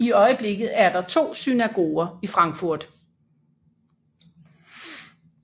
I øjeblikket er der to synagoger i Frankfurt